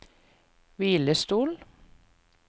hvilestol